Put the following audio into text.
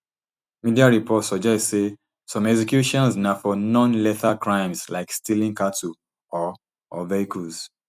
media reports suggest say some executions na for nonlethal crimes like stealing cattle or or vehicles